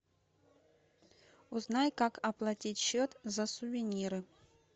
узнай как оплатить счет за сувениры